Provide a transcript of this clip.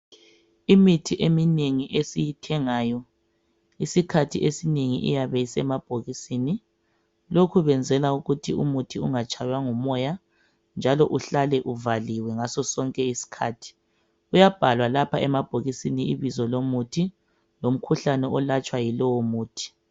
Imithi eminengi esiyithengayo isikhathi esinengi iyabe isemabhokisini lokhu benzela ukuthi umuthi ungatshaywa ngumoya njalo uhlale uvaliwe ngaso sonke isikhathi .Kuyabhalwa lapha emabhokisi ibizo lomuthi lomkhuhlane olatshwa yilowo muthi .